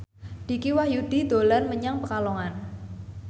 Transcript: Dicky Wahyudi dolan menyang Pekalongan